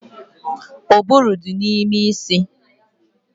Ụbụrụ dị n'ime isi